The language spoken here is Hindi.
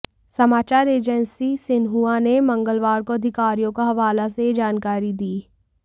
समाचार एजेंसी सिन्हुआ ने मंगलवार को अधिकारियों का हवाले से यह जानकारी दी